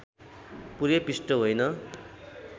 पुरै पृष्ठ होइन